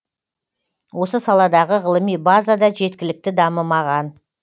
осы саладағы ғылыми база да жеткілікті дамымаған